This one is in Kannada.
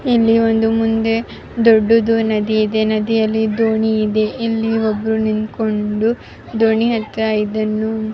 ಮಾಡ್ತಾ ಇದಾರೆ ನದಿ ದೊಡ್ದುದು ಇದೆ ಇಲ್ಲಿ ಮುಂದ್ಗಡೆ ದೂರದಲ್ಲಿ ಮನೆ ಮಹಡಿಗಳು ಎಲ್ಲ ಕಾಣಿಸ್ತಾ ಇದೆ .